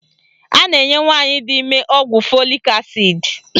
A na-enye nwaanyị di ime ọgwụ fọlik asid